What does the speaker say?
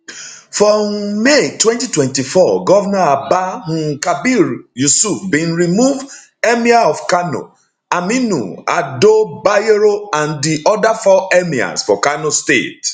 for um may 2024 govnor abba um kabir yusuf bin remove emir of kanoaminu ado bayero and di oda four emirs for kano state